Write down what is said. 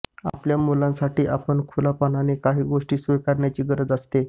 आपल्या मुलांसाठी आपण खुलेपणाने काही गोष्टी स्वीकारण्याची गरज असते